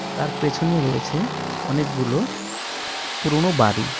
তার পেছনে রয়েছে অনেকগুলো পুরোনো বাড়ি.